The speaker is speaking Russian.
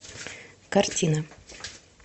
картина